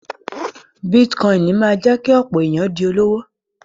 Bítíkọ́inì máa jẹ́ kí ọ̀pọ̀ èyàn di olówó.